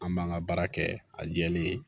An b'an ka baara kɛ a jɛlen